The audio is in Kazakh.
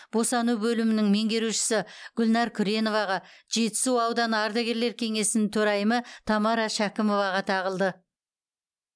босану бөлімінің меңгерушісі гүлнар күреноваға жетісу ауданы ардагерлер кеңесінің төрайымы тамара шәкімоваға тағылды